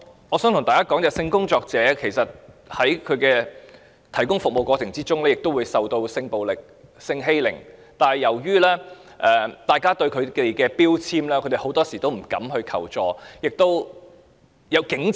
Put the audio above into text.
我想告訴大家，其實性工作者在提供服務的過程中也會受到性暴力、性欺凌，但由於早被標籤，她們往往不敢求助。